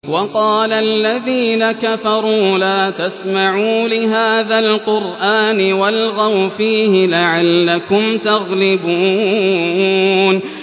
وَقَالَ الَّذِينَ كَفَرُوا لَا تَسْمَعُوا لِهَٰذَا الْقُرْآنِ وَالْغَوْا فِيهِ لَعَلَّكُمْ تَغْلِبُونَ